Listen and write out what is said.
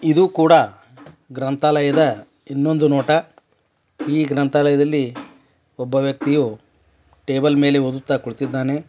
ಇದು ಕೂಡ ಗ್ರಂಥಾಲಯದ ಇನ್ನೊಂದು ನೋಟ ಈ ಗ್ರಂಥಾಲಯದಲ್ಲಿ ಒಬ್ಬ ವ್ಯಕ್ತಿಯು ಟೇಬಲ್ ಮೇಲೆ ಓದುತ್ತಾ ಕೂತಿದ್ದಾನೆ.